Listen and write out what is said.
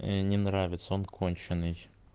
не нравится он конченый